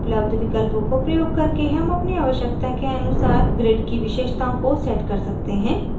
उपलब्ध विकल्पों को प्रयोग करके हम अपनी आवश्यकता के अनुसार grid की विशेषताओं को set कर सकते हैं